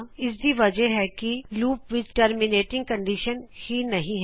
ਇਸ ਦੀ ਵਜਹ ਹੈ ਕੀ ਲੂਪ ਵਿੱਚ ਟਰਮੀਮੇਟਿਂਗ ਕੰਡੀਸ਼ਨ ਹੀ ਨਹੀ ਹੈ